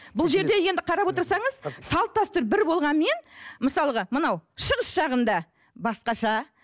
бұл жерде енді қарап отырсаңыз салт дәстүр бір болғанмен мысалға мынау шығыс жағында басқаша